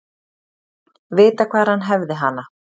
Vita hvar hann hefði hana.